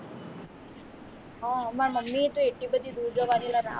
મારા મમ્મી તો એટલી બધી દૂર જવાની ના